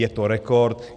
Je to rekord.